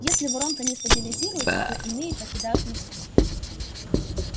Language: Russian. если воронка не стабилизируется то иные покидают москву